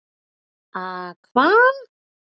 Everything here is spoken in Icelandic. A hva?